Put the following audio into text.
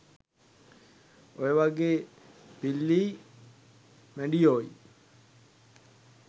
ඔයවගේ පිල්ලියි මැඩියෝයි